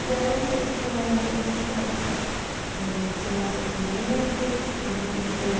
E daí, eu não sei se tem mais alguma coisa que você quer, é, adicionar ao seu depoimento. Algo que você